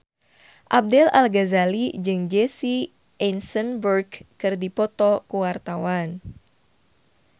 Ahmad Al-Ghazali jeung Jesse Eisenberg keur dipoto ku wartawan